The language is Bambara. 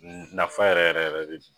Nafa yɛrɛ yɛrɛ yɛrɛ